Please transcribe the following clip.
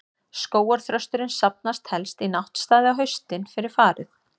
Skógarþrösturinn safnast helst í náttstaði á haustin, fyrir farið.